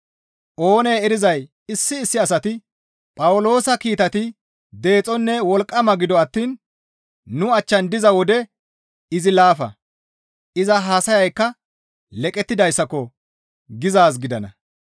Oonee erizay issi issi asati, «Phawuloosa kiitati deexonne wolqqama; gido attiin nu achchan diza wode izi laafa; iza haasayaykka leqettidayssako!» gizaaz gidana.